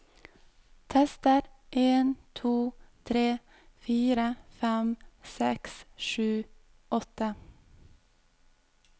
Tester en to tre fire fem seks sju åtte